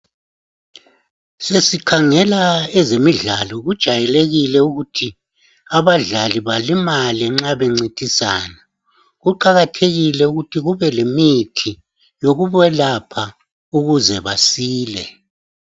Sesikhangela ezemidlalo kujayelekile ukuthi abadlali balimale nxa bencitisana kuqakathekile ukuthi kubelemithi lokukwelapha ukuze basile.